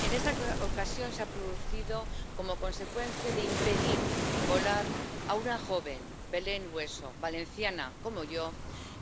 En esta ocasión se ha producido como consecuencia de impedir volar a una joven, Belén Hueso —valenciana como yo—,